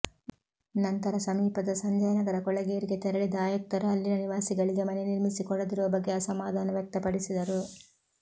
ನಂತರ ಸಮೀಪದ ಸಂಜಯನಗರ ಕೊಳೆಗೇರಿಗೆ ತೆರಳಿದ ಆಯುಕ್ತರು ಅಲ್ಲಿನ ನಿವಾಸಿಗಳಿಗೆ ಮನೆ ನಿರ್ಮಿಸಿ ಕೊಡದಿರುವ ಬಗ್ಗೆ ಅಸಮಾಧಾನ ವ್ಯಕ್ತಪಡಿಸಿದರು